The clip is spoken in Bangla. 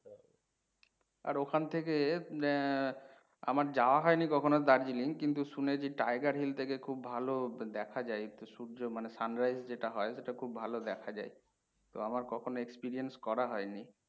আর ওখান থেকে আহ আমার যাওয়া হইনি কখনো Darjeeling কিন্তু শুনেছি tiger hill থেকে খুব ভালো দেখা যায় একটু সূর্য মানে sunrise যেটা হয় সেটা খুব ভালো দেখা যায়। তো আমার কখনও experience করা হইনি।